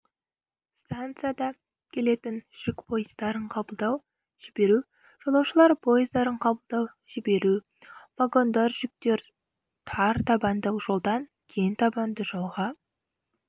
стансада келетін жүк пойыздарын қабылдау-жіберу жолаушылар пойыздарын қабылдау-жіберу вагондар жүктерін тар табанды жолдан кең табанды жолға